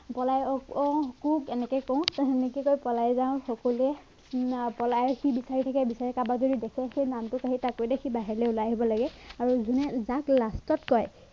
পলাই অঃ কুক এনেকে কও সেনেকে কৈ পলাই যাও সকলোৱে পলাই সি বিচাৰি থাকে বিচাৰি কাকবাক যদি দেখে সেই নামটো কাঢ়ি তাক কৈ দে সি বাহিৰলে ওলাই আহিব লাগে আৰু জোনে যাক last ত কৈ